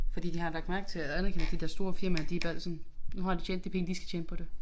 Fordi de har lagt mærke til og anerkendt de der store firmaer de bad sådan nu har de tjent de penge de skal tjene på det